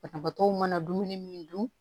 Banabaatɔw mana dumuni min dun